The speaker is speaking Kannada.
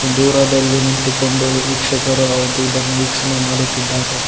ದೂರದಲ್ಲಿ ನಿಂತುಕೊಂಡು ವೀಕ್ಷಕರು ಇದನ್ನು ವೀಕ್ಷಣೆ ಮಾಡುತ್ತಿದ್ದಾರೆ.